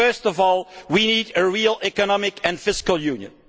First of all we need a real economic and fiscal union.